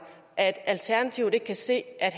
at alternativet ikke kan se at